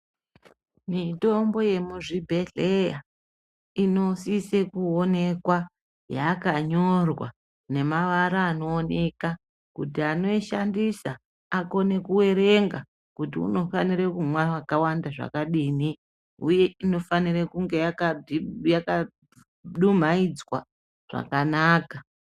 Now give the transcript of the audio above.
Mitombo yemuzvibhedhleya, inosise kuwonekwa yakanyorwa nemabara anowoneka, kuti anoyishandisa akone kuwerenga kuti unofanire kumwa wakawanda zvakadini. Uye inofanira kunge yakalumayidzwa zvakanaka.